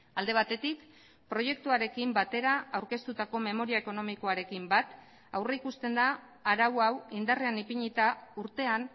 alde batetik proiektuarekin batera aurkeztutako memoria ekonomikoarekin bat aurrikusten da arau hau indarrean ipinita urtean